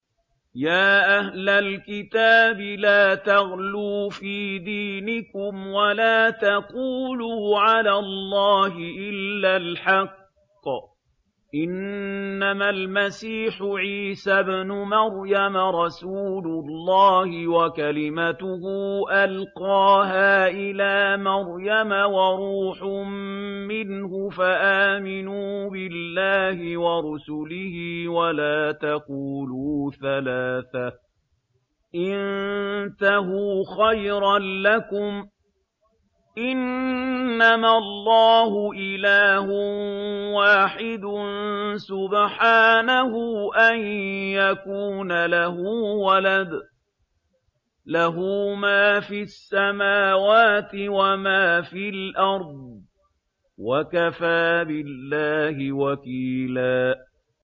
يَا أَهْلَ الْكِتَابِ لَا تَغْلُوا فِي دِينِكُمْ وَلَا تَقُولُوا عَلَى اللَّهِ إِلَّا الْحَقَّ ۚ إِنَّمَا الْمَسِيحُ عِيسَى ابْنُ مَرْيَمَ رَسُولُ اللَّهِ وَكَلِمَتُهُ أَلْقَاهَا إِلَىٰ مَرْيَمَ وَرُوحٌ مِّنْهُ ۖ فَآمِنُوا بِاللَّهِ وَرُسُلِهِ ۖ وَلَا تَقُولُوا ثَلَاثَةٌ ۚ انتَهُوا خَيْرًا لَّكُمْ ۚ إِنَّمَا اللَّهُ إِلَٰهٌ وَاحِدٌ ۖ سُبْحَانَهُ أَن يَكُونَ لَهُ وَلَدٌ ۘ لَّهُ مَا فِي السَّمَاوَاتِ وَمَا فِي الْأَرْضِ ۗ وَكَفَىٰ بِاللَّهِ وَكِيلًا